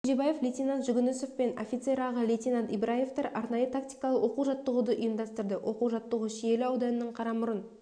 кенжебаев лейтенант жүгінісов пен офицер аға лейтенант ибраевтар арнайы-тактикалық оқу-жаттығуды ұйымдастырды оқу-жаттығу шиелі ауданының қарамұрын